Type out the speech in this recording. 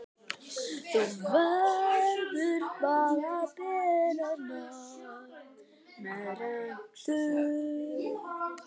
Þú verður að bera nafn með rentu.